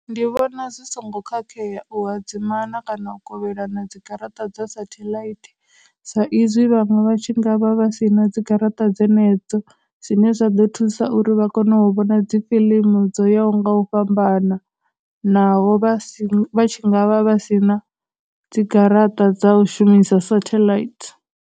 Ndi vhona zwi songo khakhea u hadzimana kana u kovhelana dzigaraṱa dza satellite sa izwi vhaṅwe vha tshi ngavha vha sina dzigaraṱa dzenedzo, zwine zwa ḓo thusa uri vha kone u vhona dzi film dzoyaho u nga u fhambana naho vha si vha vha tshi nga vha vha sina dzigaraṱa dza u shumisa satellite.